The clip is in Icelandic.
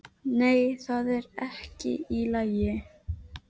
Nei, það er ekki allt í lagi.